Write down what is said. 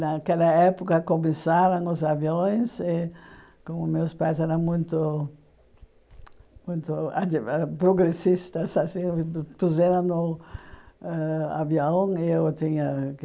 Naquela época começaram os aviões, e como meus pais eram muito muito progressistas assim, puseram no avião. Eu tinha